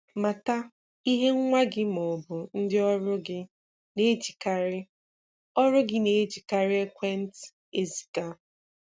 Mata ihe nwa gị maọbụ ndị ọrụ gị na-ejikarị ọrụ gị na-ejikarị ekwentị eziga.